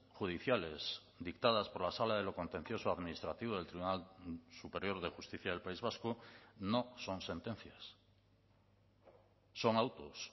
judiciales dictadas por la sala de lo contencioso administrativo del tribunal superior de justicia del país vasco no son sentencias son autos